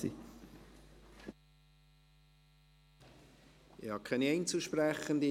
Es gibt keine Einzelsprechenden.